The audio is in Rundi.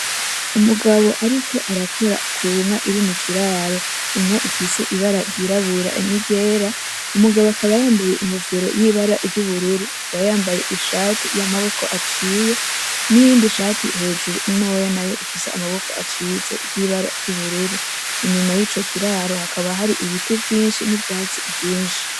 Umugabo ariko arakora ku nka iri mu kiraro, inka ifise ibara ryirabura n'iryera, umugabo akaba yambaye inkofero y'ibara ry'ubururu, akaba yambaye ishati y'amaboko aciye n'iyindi shati hejuru ntoya nayo ifise amaboko aciye ry'ibara ry'ubururu , inyuma yico kiraro hakaba hari ibiti vyinshi n'ivyatsi vyinshi.